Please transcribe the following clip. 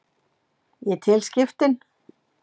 Ég tel skiptin.